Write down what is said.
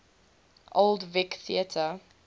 old vic theatre